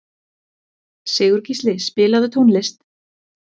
Sigurgísli, spilaðu tónlist.